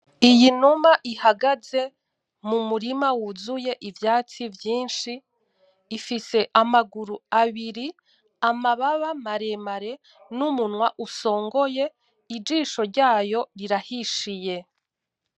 Iyinuma ihagaze mu murima wuzuye ivyatsi vyinshi, ifise amaguru abiri amababa maremare n'umunwa usongoye ijisho ryayo rirahishiye.